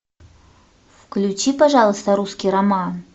включи пожалуйста русский роман